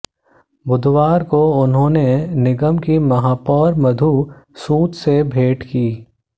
बुधवार को उन्होंने निगम की महापौर मधु सूद से भेंट की